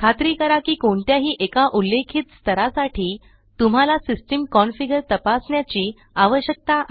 खात्री करा की कोणत्याही एका उल्लेखित स्तरासाठी तुम्हाला सिस्टम कन्फिगर तपासण्याची आवश्यकता आहे